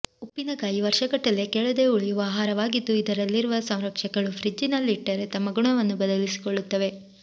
ಉಪ್ಪಿನಕಾಯಿ ವರ್ಷಗಟ್ಟಲೇ ಕೆಡದೇ ಉಳಿಯುವ ಆಹಾರವಾಗಿದ್ದು ಇದರಲ್ಲಿರುವ ಸಂರಕ್ಷಕಗಳು ಫ್ರಿಜ್ಜಿನಲ್ಲಿಟ್ಟರೆ ತಮ್ಮ ಗುಣವನ್ನು ಬದಲಿಸಿಕೊಳ್ಳುತ್ತವೆ